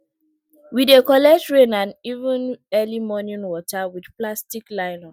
we dey collect rain and even early morning water with plastic nylon